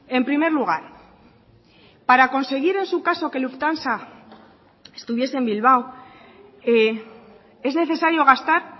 en primer lugar para conseguir en su caso que lufthansa estuviese en bilbao es necesario gastar